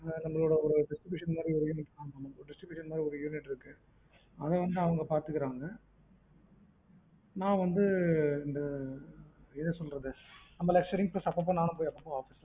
நம்மளோட distribution மாதிரி ஒரு unit இருக்கு அத வந்து அவங்க பதுக்கிடுறாங்க நா வந்து என்ன சொல்லுறது நம்ம lecturing class அப்ப நா பாத்துக்கிடுறன்